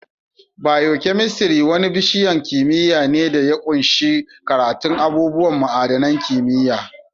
Biokemistri wani bishiyan kimiyya ne da ya ƙunshi karatun abubuwan ma'adanin kimiyya.